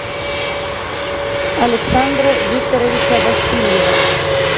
александра викторовича васильева